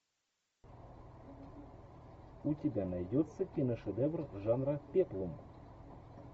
у тебя найдется киношедевр жанра пеплум